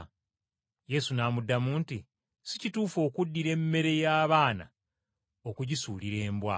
Yesu n’amuddamu nti, “Si kituufu okuddira emmere y’omwana okugisuulira embwa.”